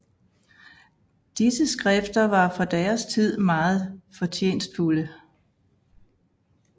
Disse skrifter var for deres tid meget fortjenstfulde